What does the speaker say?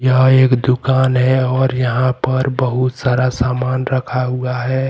यह एक दुकान है और यहां पर बहुत सारा सामान रखा हुआ है।